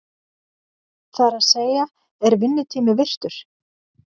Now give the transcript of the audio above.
Það er að segja, er vinnutími virtur?